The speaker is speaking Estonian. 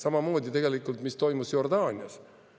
Samamoodi tegelikult, mis toimus Jordaanias?